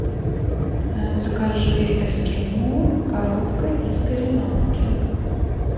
закажи эскимо коровка из кореновки